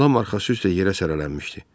Lam arxası üstə yerə sərlənmişdi.